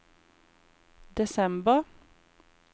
desember